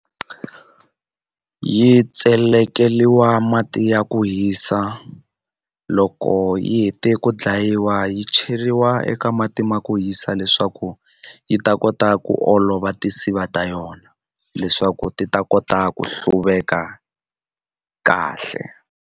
Yi tselekeriwa mati ya ku hisa loko yi hete ku dlayiwa yi cheriwa eka mati ma ku hisa leswaku yi ta kota ku olova tinsiva ta yona leswaku ti ta kota ku hluveka kahle.